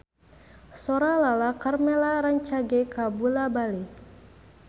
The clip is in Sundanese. Sora Lala Karmela rancage kabula-bale